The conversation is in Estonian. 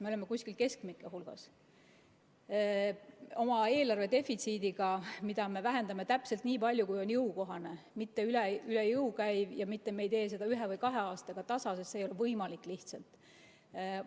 Me oleme kuskil keskmike hulgas oma eelarve defitsiidiga, mida me vähendame täpselt nii palju, kui on jõukohane, me ei tee seda üle jõu ja me ei tee seda ühe või kahe aastaga tasa, sest see ei ole lihtsalt võimalik.